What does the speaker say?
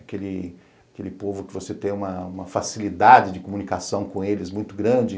Aquele aquele povo que você tem uma facilidade de comunicação com eles muito grande.